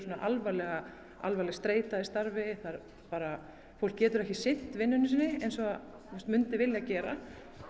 alvarleg alvarleg streita í starfi fólk getur ekki sinnt vinnunni sinni eins og það myndi vilja gera